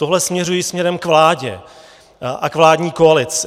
Tohle směřuji směrem k vládě a k vládní koalici.